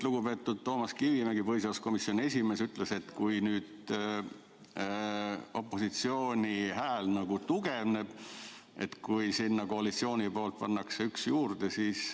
Lugupeetud Toomas Kivimägi, põhiseaduskomisjoni esimees, ütles, et kui nüüd opositsiooni hääl nagu tugevneb, kui sinna koalitsiooni poolt pannakse üks juurde.